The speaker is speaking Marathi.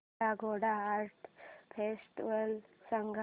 काला घोडा आर्ट फेस्टिवल सांग